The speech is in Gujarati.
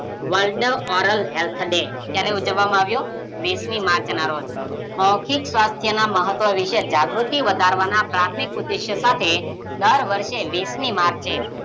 વર્લ્ડ ઓરલ હેલ્થ ડે ક્યારે ઉજવામાં આવ્યો, વીસમી માર્ચના રોજ. મૌખિક સ્વાસ્થ્યના જાગૃતિ વધારવાના પ્રાથમિક ઉદ્દેશય સાથે દર વર્ષે વીસમી માર્ચે